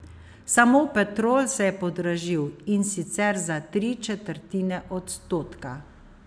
Samo Petrol se je podražil, in sicer za tri četrtine odstotka.